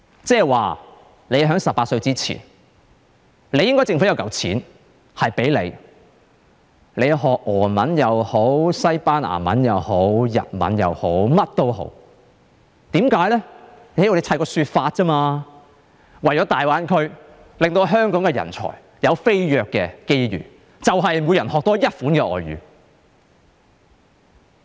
即是說，在18歲前，政府應該提供一筆錢，讓他們學習俄文也好、西班牙文也好、日文也好，甚麼也好，只要堆砌一個說法便可以了，就說是為了大灣區，令香港人才有飛躍的機遇，就是透過每人多學一種外語。